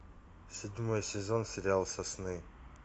седьмой сезон сериал сосны